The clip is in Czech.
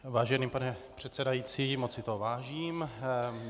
Vážený pane předsedající, moc si toho vážím.